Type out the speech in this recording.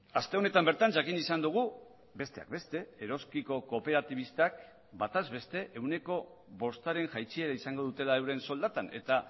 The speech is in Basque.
aste honetan bertan jakin izan dugu besteak beste eroski ko kooperatibistak bataz beste ehuneko bostaren jaitsiera izango dutela euren soldatan eta